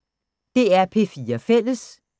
DR P4 Fælles